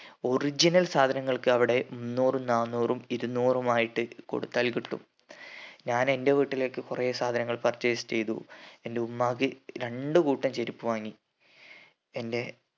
original സാധങ്ങൾക്ക് അവിടെ മുന്നൂറും നാന്നൂരും ഇരുന്നൂറുമായിട്ട് കൊടുത്താൽ കിട്ടും ഞാൻ എന്റെ വീട്ടിലേക്ക് കൊറേ സാധനങ്ങൾ purchase ചെയ്തു എന്റെ ഉമ്മാക്ക് രണ്ട് കൂട്ടം ചെരുപ്പ് വാങ്ങി എന്റെ